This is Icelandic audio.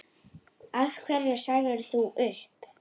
Af hverju sagðir þú upp?